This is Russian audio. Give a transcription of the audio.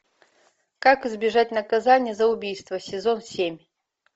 как избежать наказания за убийство сезон семь